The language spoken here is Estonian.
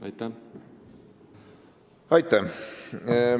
Aitäh!